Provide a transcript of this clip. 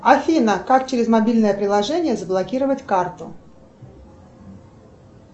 афина как через мобильное приложение заблокировать карту